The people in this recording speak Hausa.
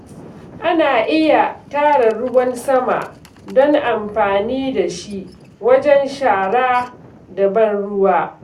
Ana iya tara ruwan sama don amfani da shi wajen shara da ban ruwa.